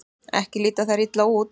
Ekki líta þær illa út.